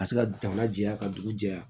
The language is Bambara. Ka se ka jamana jɛya ka dugu jɛya